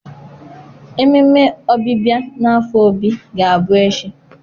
Ememe Ọbịbịa n' afo Obi ga-abụ echi.